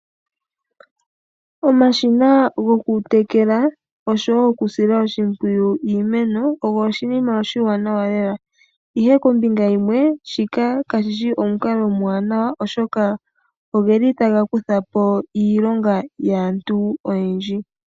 Omashina gokutekela osho wo okusila oshimpwiyu iimeno ogo oshinima oshiwanawa lela. Ihe kombinga yimwe shika kashishi omukalo omuwanawa oshoka oge li taga kuthapo iilonga yaantu oyendji.